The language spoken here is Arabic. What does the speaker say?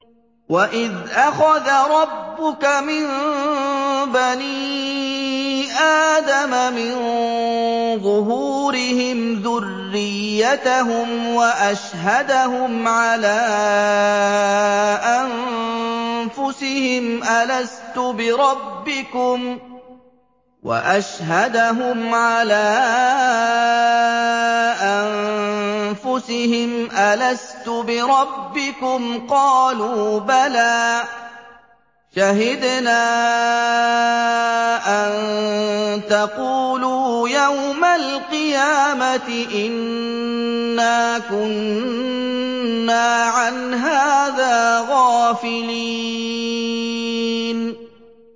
وَإِذْ أَخَذَ رَبُّكَ مِن بَنِي آدَمَ مِن ظُهُورِهِمْ ذُرِّيَّتَهُمْ وَأَشْهَدَهُمْ عَلَىٰ أَنفُسِهِمْ أَلَسْتُ بِرَبِّكُمْ ۖ قَالُوا بَلَىٰ ۛ شَهِدْنَا ۛ أَن تَقُولُوا يَوْمَ الْقِيَامَةِ إِنَّا كُنَّا عَنْ هَٰذَا غَافِلِينَ